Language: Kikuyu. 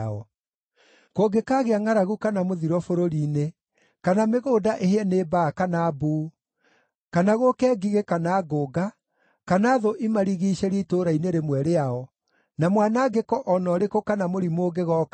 “Kũngĩkaagĩa ngʼaragu kana mũthiro bũrũri-inĩ, kana mĩgũnda ĩhĩe nĩ mbaa kana mbuu, kana gũũke ngigĩ kana ngũnga, kana thũ imarigiicĩrie itũũra-inĩ rĩmwe rĩao, na mwanangĩko o na ũrĩkũ kana mũrimũ ũngĩgooka-rĩ,